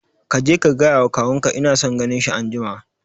Kaje ka gaya wa kawun ka ina son ganin shi anjima